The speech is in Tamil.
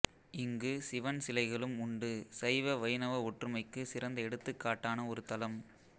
இங்கு சிவன் சிலைகளும் உண்டு சைவ வைணவ ஒற்றுமைக்கு சிறந்த எடுத்துக்காட்டான ஒரு தலம்